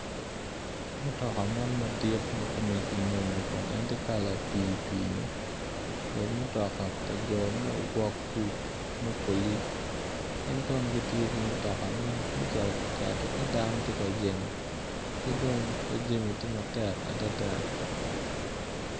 Mutoka man madit ma kome kinyonyo kun en tye kala pii pii-ni, obedo mutoko pa jo ma ogwok kuc me polic gin kono gitiyo ki mutoka man me cito ka keto ka dano tye ka jemo ki dong ka jami tye matek adada.